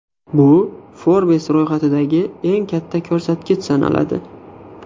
Bu Forbes ro‘yxatidagi eng katta ko‘rsatkich sanaladi.